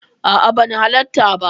A'a, ban halatta ba.